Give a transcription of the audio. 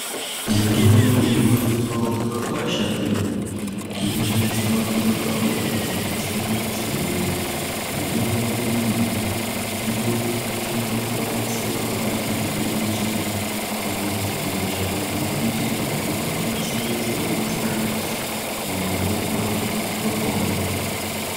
Mitombo inowanikwawo mumakwasha iyo inoshandiswa kurapa hosha dzakasiyana siyana mitombo iyi inoshandiswa semakwati nembiti kana kuti mashakani nembiti aya anokwanisa kusanganiswa nemvura munhu omwa otopora.